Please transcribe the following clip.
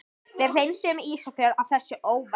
Við hreinsum Ísafjörð af þessari óværu!